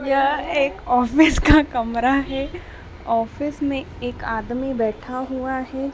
यह एक ऑफिस का कमरा है। ऑफिस में एक आदमी बैठा हुआ है।